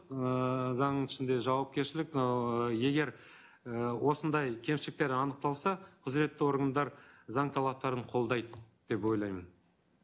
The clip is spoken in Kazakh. ыыы заңның ішінде жауапкершілік ыыы егер і осындай кемшіліктер анықталса құзыретті органдар заң талаптарын қолдайды деп ойлаймын